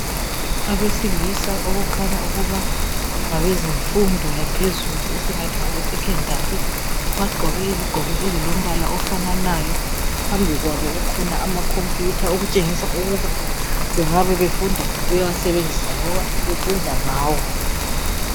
Abesilisa okukhanya ukuba ngabezemfundo yaphezulu esingathi ngabesecondali bagqoke izigqoko ezilombala ofananayo phambi kwabo kukhona amakhomphuta okutshengisa ukuba bengaba befunda bewasebenzisa loba befunda ngawo.